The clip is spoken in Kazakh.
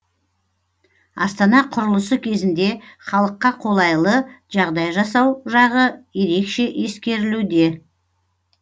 астана құрылысы кезінде халыққа қолайлы жағдай жасау жағы ерекше ескерілуде